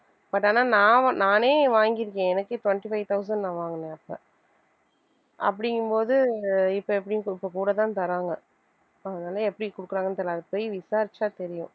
but ஆனா நான் வ~ நானே வாங்கி இருக்கேன் எனக்கே twenty five thousand நான் வாங்கினேன் அப்ப அப்படிங்கும்போது இப்ப எப்படியும் இப்ப கூடத்தான் தர்றாங்க அதனால எப்படி கொடுக்குறாங்கன்னு தெரியலே அது போய் விசாரிச்சா தெரியும்